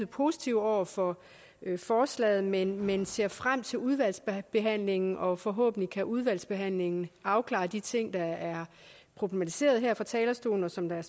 positive over for forslaget men men ser frem til udvalgsbehandlingen og forhåbentlig kan udvalgsbehandlingen afklare de ting der er problematiseret her fra talerstolen og som der er